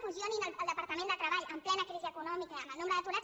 fusionin el departament de treball en plena crisi econòmica i amb el nombre d’aturats